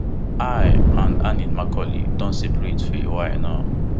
i and annie macaulay don separate for a while now